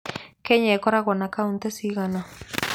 Kenya ĩkoragwo na kauntĩ cigana?